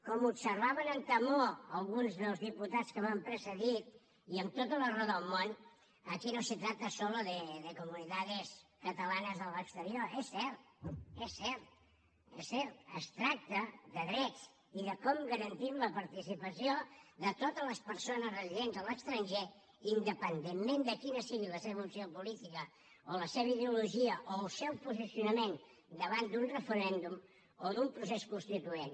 com observaven amb temor alguns dels diputats que m’han precedit i amb tota la raó del món aquí no se trata solo de comunidades catalanas a l’exterior és cert és cert es tracta de drets i de com garantim la participació de totes les persones residents a l’estranger independentment de quina sigui la seva opció política o la seva ideologia o el seu posicionament davant d’un referèndum o d’un procés constituent